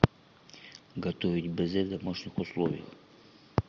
готовить безе в домашних условиях